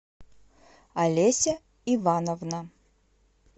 олеся ивановна